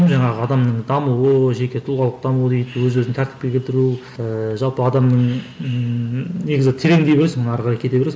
жаңағы адамның дамуы жеке тұлғалық даму дейді өз өзін тәртіпке келтіру ііі жалпы адамның ііі негізі тереңдей бересің ары қарай кете бересің